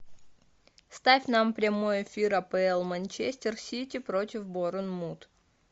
ставь нам прямой эфир апл манчестер сити против борнмут